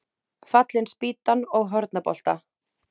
Fallin spýtan og Hornabolta.